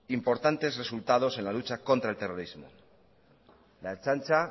importantes resultados en la lucha contra el terrorismo la ertzaintza